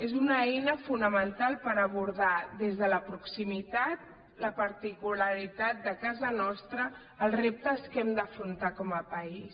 és una eina fonamental per abordar des de la proximitat la particularitat de casa nostra els reptes que hem d’afrontar com a país